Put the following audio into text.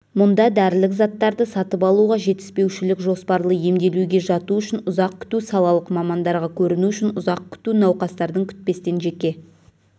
мұнда дәрілік заттарды сатып алуға жетіспеушілік жоспарлы емделуге жату үшін ұзақ күту салалық мамандарға көріну үшін ұзақ күту науқастардың күтпестен жеке